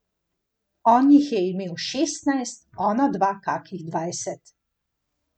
On jih je imel šestnajst, onadva kakih dvajset.